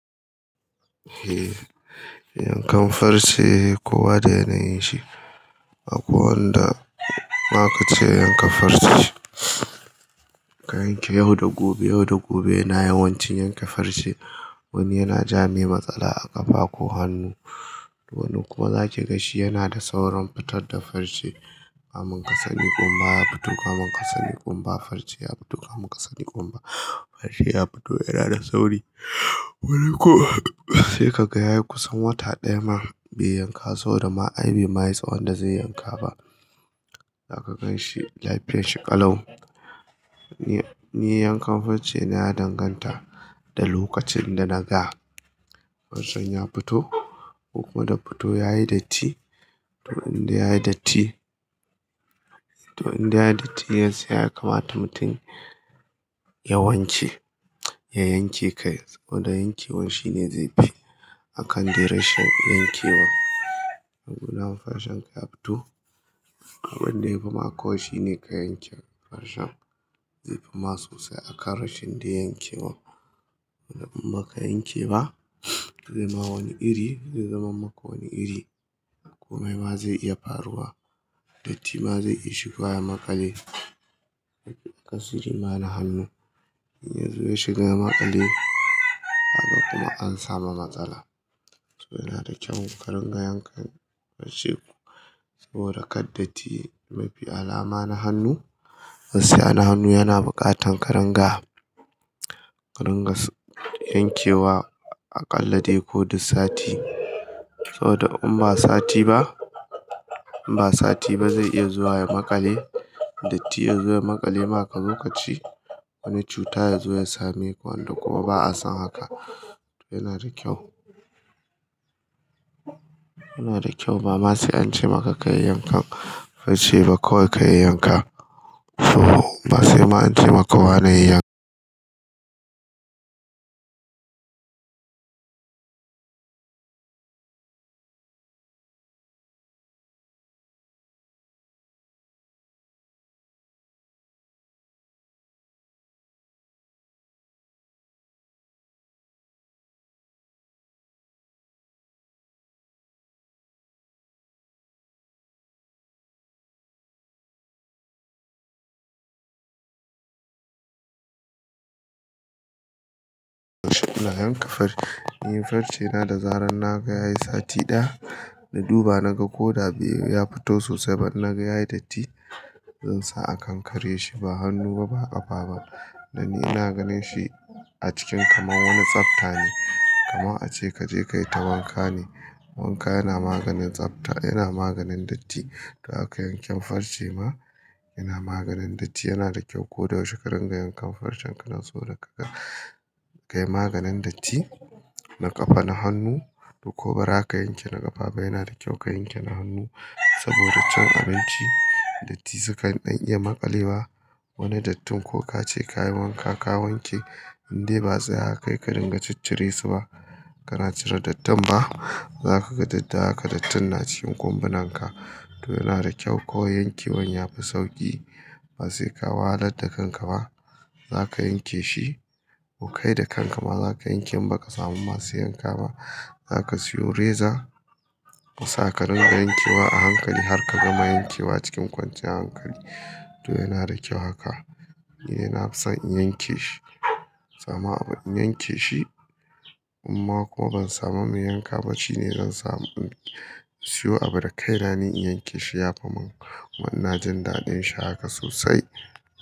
Eh, yankan farce kowa da yanayin shi. Akwai wanda ma ka ce yanka farce, ka yanke yau da gobe, yau da gobe yana yawancin yanke farce. Wani yana jamai matsala a ƙafa ko hannu, wani kuma za kiga shi yana da saurin fitar da farce. Kamun kasani ƙumba ya fito, kamun kasani ƙumba farce ya fito, kamun kasani ƙumba farce ya fito. Yana da sauri. Wani kuwa sai ka ga yayi kusan wata ɗaya ma bai yanka saboda ma ai bai mayi tsawon da zai yanka ba. Za ka gan shi lafiyar shi ƙalau. Ni yankan farce na ya danganta da lokacin da na ga farcen ya fito ko kuma daya fito yayi datti. To in dai yayi datti, to in dai yayi datti yanzu ya kamata mutum yawanci ya yanke kai. Saboda yankewan shine zaifi. Akan duration din yankewa. Hanyar farcen ya fito. Abin da ya fi ma kawai shi ne ka yanke farcen, zaifi ma sosai akan rashin dai yankewan. In baka yanke ba zai ma wani iri, zai zaman maka wani iri. A komai ma zai iya faruwa. Datti ma zai iya shigowa ya makale. Ya kasu zama na hannu. In ya zo ya shiga ya maƙale, kaga kuma an samu matsala. To yana da kyau ka ringa yankan farce. Saboda kar datti mafi alama na hannu. Farce yana hannu yana buƙatan ka ringa, ka ringa yankewa aƙalla dai ko duk sati. Saboda in ba sati ba, in ba sati ba zai iya zuwa ya maƙale. Datti ya zo ya maƙale maka kazo kace. Wani cuta ya zo ya same ku wanda kuma ba a san haka. To yana da kyau. Yana da kyau. Ba ma sai an ce maka ka yi yankan farce ba. Kawai ka yi yanka. To ba sai ma an ce maka wa na yi yankewa da yankan farce. Ni farce na da zarar na ga yayi sati ɗaya, na duba na ga ko da bai ya fito sosai ba, inna ga yayi datti. Zan sa a kankare shi ba hannu ba, ba ƙafa ba. Danni ina ganin shi a cikin kamar wani tsabta ne. Kaman a ce kaje ka yi ta wanka ne. Wanka yana maganin tsabta, yana maganin datti. To haka yanken farce ma yana maganin datti. Yana da kyau. Ko da yaushe ka ringa yankan farcen ka nan. Toh, kayi maganin datti, na ƙafa na hannu ko bara ka yanke na ƙafa ba, yana da kyau ka yanke na hannu. Saboda cin abinci datti sukan dan iya maƙale wa. Wani dattin ko ka ce ka yi wanka ka wanke, indai ba za a kai ka ringa ciccire su ba. Kana cire dattin ba. Za ka ga datti haka dattin na cikin ƙumbunan ka. To yana da kyau. Kawai yankewan ya fi sauƙi. Ba sai ka wahalar da kanka ba. Za ka yanke shi. Ku kai da kanka ma za ka yanke in ba ka samu masu yanka ba. Za ka siyo reza. Ka sa ka ringa yankewa a hankali har ka gama yankewa cikin kwanciyar hankali. To yana da kyau haka. Ni yana son in yanke shi. Sama in yanke shi. Amma kuma ban samu mai yanka ba. Shi ne zan samu, siyo abu da kaina ni in yanke shi ya fi mun. Kuma ina jin daɗin shi haka sosai.